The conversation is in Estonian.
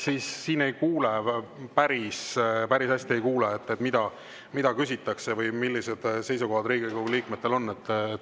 Siin päris hästi ei kuule, mida küsitakse või millised seisukohad Riigikogu liikmetel on.